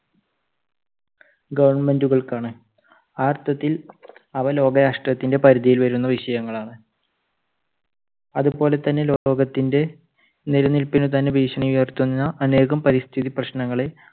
government കൾക്കാണ്. ആ അർത്ഥത്തിൽ അവ ലോകരാഷ്ട്രത്തിന്റെ പരിധിയിൽ വരുന്ന വിഷയങ്ങളാണ്. അതുപോലെ തന്നെ ലോകത്തിന്റെ നിലനിൽപ്പിന് തന്നെ ഭീഷണി ഉയർത്തുന്ന അനേകം പരിസ്ഥിതി പ്രശ്നങ്ങളെ